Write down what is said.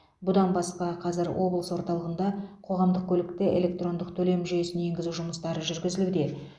бұдан басқа қазір облыс орталығында қоғамдық көлікте электрондық төлем жүйесін енгізу жұмыстары жүргізілуде